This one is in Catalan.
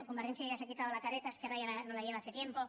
convergència ya se ha quitado la careta esquerra no la lleva hace tiempo